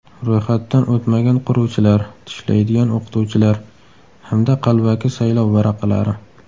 Ro‘yxatdan o‘tmagan quruvchilar, tishlaydigan o‘qituvchilar hamda qalbaki saylov varaqalari.